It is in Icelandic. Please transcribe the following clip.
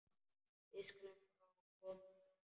Við skulum þá koma okkur.